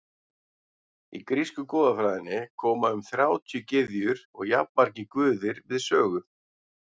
í grísku goðafræðinni koma um þrjátíu gyðjur og jafnmargir guðir við sögu